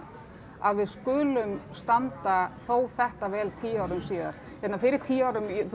að við skulum standa þó þetta vel tíu árum síðar hérna fyrir tíu árum þú